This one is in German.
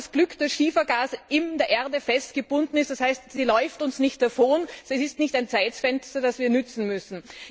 Wir haben das Glück, dass Schiefergas in der Erde festgebunden ist, das heißt, es läuft uns nicht davon, es ist kein Zeitfenster, das wir nützen müssen.